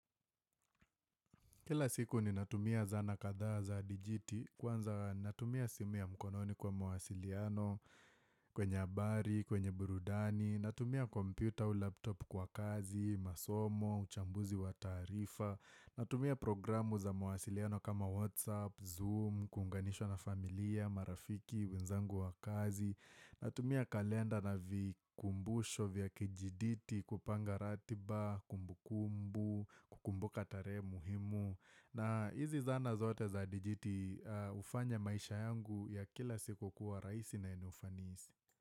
Kila siku ninatumia zana kadha za digiti kwanza natumia simu ya mkononi kwa mwasiliano kwenye habari, kwenye burudani, natumia kompyuta au laptop kwa kazi, masomo, uchambuzi wa taarifa, natumia programu za mawasiliano kama WhatsApp, Zoom, kuunganishwa na familia, marafiki, wenzangu wa kazi, Natumia kalenda na vikumbusho vya kijiditi kupanga ratiba, kumbukumbu, kukumbuka tarehe muhimu. Na hizi zana zote za dijiti hufanya maisha yangu ya kila siku kuwa rahisi na yenye ufanisi.